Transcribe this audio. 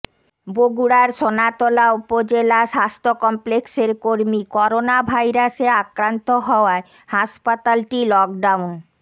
বগুড়ার সোনাতলা উপজেলা স্বাস্থ্য কমপ্লেক্সের কর্মী করোনাভাইরাসে আক্রান্ত হওয়ায় হাসপাতালটি লকডাউন ঘ